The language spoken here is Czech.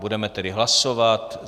Budeme tedy hlasovat.